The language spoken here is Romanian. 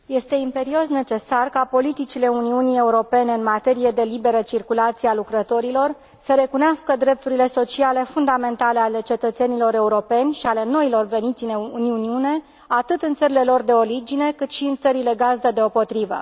Este imperios necesar ca politicile Uniunii Europene în materie de liberă circulație a lucrătorilor să recunoască drepturile sociale fundamentale ale cetățenilor europeni și ale noilor veniți în Uniune, atât în țările lor de origine, cât și în țările gazdă deopotrivă.